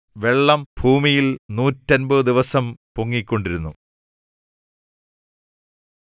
വെള്ളം ഭൂമിയിൽ നൂറ്റമ്പത് ദിവസം പൊങ്ങിക്കൊണ്ടിരുന്നു